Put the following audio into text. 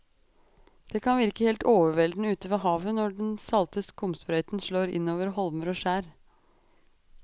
Det kan virke helt overveldende ute ved havet når den salte skumsprøyten slår innover holmer og skjær.